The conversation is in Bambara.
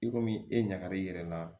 I komi e ɲagara i yɛrɛ la